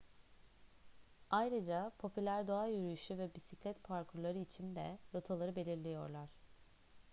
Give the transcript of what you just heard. ayrıca popüler doğa yürüyüşü ve bisiklet parkurları için de rotaları belirliyorlar